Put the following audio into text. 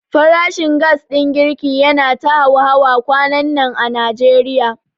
Farashin gas ɗin girki yana ta hauhawa kwanannan a Najeriya.